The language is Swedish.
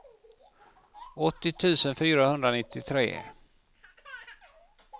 åttio tusen fyrahundranittiotre